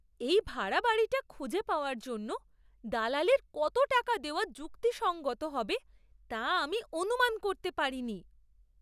এই ভাড়া বাড়িটা খুঁজে পাওয়ার জন্য দালালির কত টাকা দেওয়া যুক্তিসঙ্গত হবে তা আমি অনুমান করতে পারিনি!